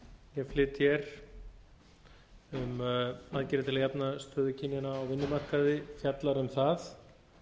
ég flyt hér um aðgerðir til að jafna stöðu kynjanna á vinnumarkaði fjallar um það